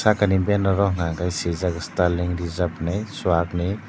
sakani banner o hwnka hwnkhe swijak sterling reserve hinwi chuak ni.